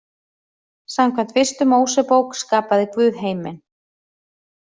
Samkvæmt Fyrstu Mósebók skapaði Guð heiminn.